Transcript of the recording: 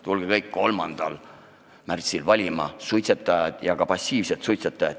Suitsetajad, ka passiivsed suitsetajad, tulge kõik 3. märtsil valima!